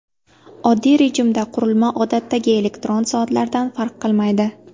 Oddiy rejimda qurilma odatdagi elektron soatlardan farq qilmaydi.